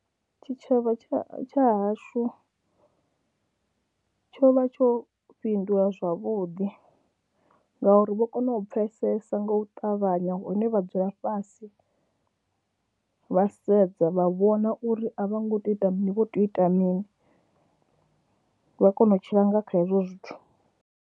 Tshitshavha tsha hashu tsho vha tsho fhindula zwavhuḓi ngauri vho kona u pfhesesa nga u ṱavhanya hune vha dzula fhasi vha sedza vha vhona uri a vho ngo tea u ita mini, vha tea u ita mini, vha kone u tshila nga kha hezwo zwithu.